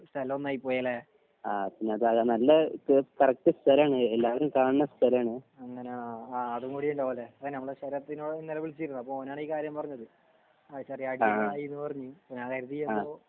സ്ഥലം ഒന്നായി പോയി ല്ലേഅങ്ങനെ ആഹ് ആഹ് അതും കൂടി ഉണ്ടാവും ല്ലേ? ഇപ്പൊ നമ്മളെ ശരത്തിനോട് ഇങ്ങനെ വിളിച്ചീർന്നു. അപ്പൊ ഓനാണ് ഈ കാര്യം പറഞ്ഞത്. അടുത്ത് വ്യാഴായ്ച ചിലപ്പോ